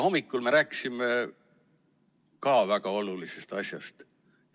Hommikul me rääkisime veel ühest väga olulisest asjast.